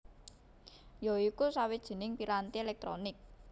ya iku sawijining piranti elektronik